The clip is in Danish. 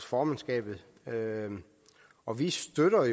formandskabet og vi støtter